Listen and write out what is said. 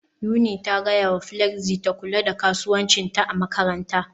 Yuni ta gaya wa Flexy ta kula da kasuwancinta a makaranta